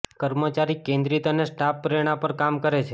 કર્મચારી કેન્દ્રિત અને સ્ટાફ પ્રેરણા પર કામ કરે છે